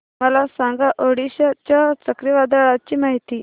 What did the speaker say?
मला सांगा ओडिशा च्या चक्रीवादळाची माहिती